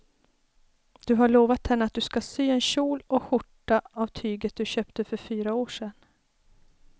Du har lovat henne att du ska sy en kjol och skjorta av tyget du köpte för fyra år sedan.